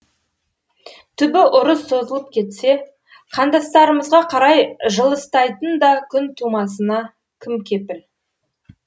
түбі ұрыс созылып кетсе қандастарымызға қарай жылыстайтын да күн тумасына кім кепіл